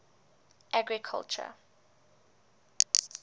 agriculture